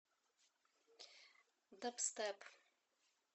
дабстеп